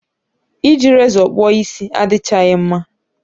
I ji rezọ kpụọ isi adịchaghị mma